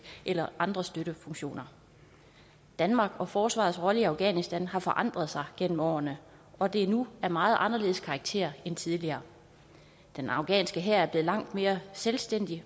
eller andre støttefunktioner danmarks og forsvarets rolle i afghanistan har forandret sig gennem årene og det er nu af meget anderledes karakter end tidligere den afghanske hær er blevet langt mere selvstændig